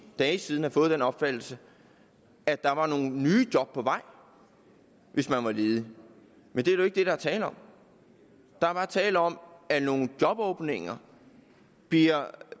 dage siden have fået den opfattelse at der var nogle nye job på vej hvis man var ledig men det er jo ikke det der er tale om der er bare tale om at nogle jobåbninger bliver